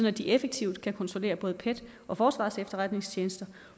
at de effektivt kan kontrollere både pet og forsvarets efterretningstjeneste